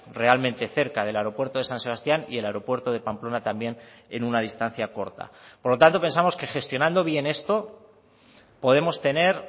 realmente cerca del aeropuerto de san sebastián y el aeropuerto de pamplona también en una distancia corta por lo tanto pensamos que gestionando bien esto podemos tener